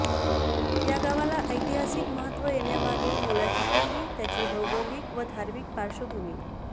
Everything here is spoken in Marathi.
या गावाला ऐतिहासिक महत्त्व येण्यामागे मोलाची ठरली त्याची भौगोलिक व धार्मिक पार्श्वभूमी